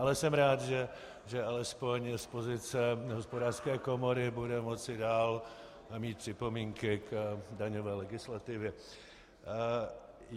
Ale jsem rád, že alespoň z pozice Hospodářské komory bude moci dále mít připomínky k daňové legislativě.